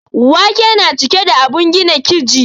Wake na cike da abun gina kiji